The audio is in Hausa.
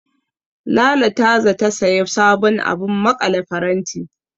Lala ta zata sayi sabon abun maƙale faranti.